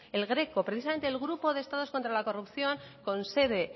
el greco precisamente el grupo de estados contra la corrupción con sede